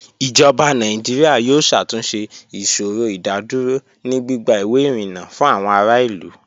Ijọba Nàìjíríà yóò ṣàtúnṣẹ̀ ìṣòrò ìdádúrò ni gbigba iwé irínńá fún àwọn àrà ilú